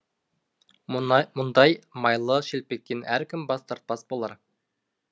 мұндай майлы шелпектен әркім бас тартпас болар